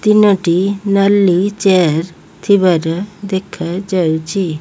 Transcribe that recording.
ତିନୋଟି ନାଲି ଚେୟାର୍ ଥିବାର ଦେଖାଯାଉଚି।